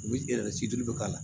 U bɛ situlu bɛ k'a la